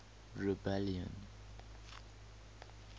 rebellion